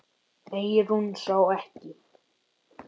Eyrún sá ekki.